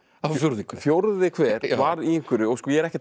fjórði hver fjórði hver var í einhverju ég er ekki að tala